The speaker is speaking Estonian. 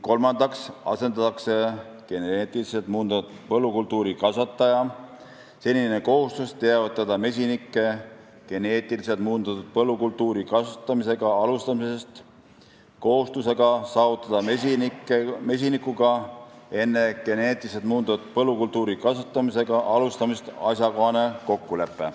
Kolmandaks asendatakse geneetiliselt muundatud põllukultuuri kasvataja senine kohustus teavitada mesinikke geneetiliselt muundatud põllukultuuri kasvatamisega alustamisest kohustusega saavutada mesinikega enne geneetiliselt muundatud põllukultuuri kasvatamisega alustamist asjakohane kokkulepe.